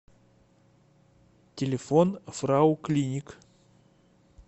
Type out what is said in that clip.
телефон фрау клиник